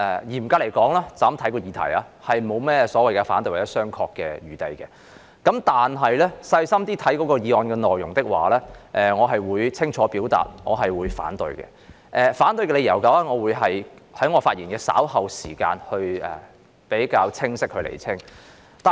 嚴格來說，單從議題來看並沒甚麼所謂反對或商榷的餘地，但細心閱讀議案內容的話，我會清楚表達反對，並會在稍後的發言中較為清晰地釐清我反對的理由。